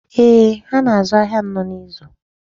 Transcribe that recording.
Eeh, ha na-azụ ahịa anọ n'izu.